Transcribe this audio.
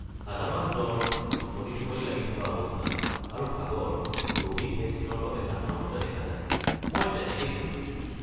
সাধাৰণ জ্বৰ, টোপনি টোপনি লাগি থকা অৱস্থা আৰু ভাগৰ ক'ভিড ভেকচিনৰ বাবে সাধাৰণতে দেখা যায়, মই তেনেকেই শুনিছোঁ।